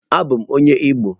Abum onye Igbo.